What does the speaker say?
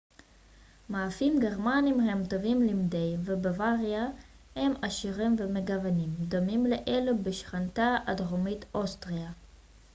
מאפים גרמניים הם טובים למדי ובבוואריה הם עשירים ומגוונים דומים לאלו בשכנתה הדרומית אוסטריה